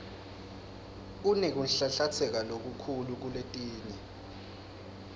kunekunhlanhlatsa lokukhulu kuletinye